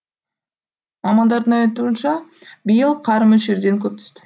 мамандардың айтуынша биыл қар мөлшерден көп түсті